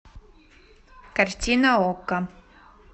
картина окко